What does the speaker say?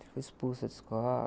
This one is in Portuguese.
Fui expulsa de escola.